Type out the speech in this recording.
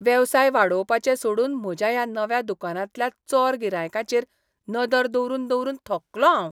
वेवसाय वाडोवपाचें सोडून म्हज्या ह्या नव्या दुकानांतल्या चोर गिरायकांचेर नदर दवरून दवरून थकलों हांव.